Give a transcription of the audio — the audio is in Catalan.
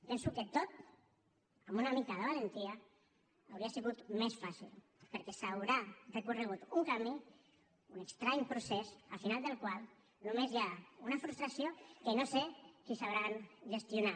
penso que tot amb una mica de valentia hauria sigut més fàcil perquè s’haurà recorregut un camí un estrany procés al final del qual només hi ha una frustració que no sé si sabran gestionar